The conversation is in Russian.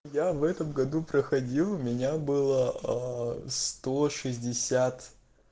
я в этом году проходил у меня было а сто шестьдесят